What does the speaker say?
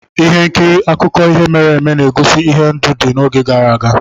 Ihe nkiri akụkọ ihe mere eme na-egosi ihe ndụ dị n'oge gara aga